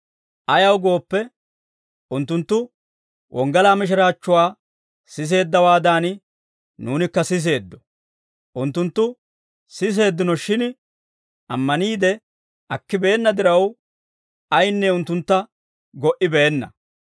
Ayaw gooppe, unttunttu wonggalaa mishiraachchuwaa siseeddawaadan, nuunikka siseeddo; unttunttu siseeddino, shin ammaniide akkibeenna diraw, ayinne unttuntta go"ibeenna.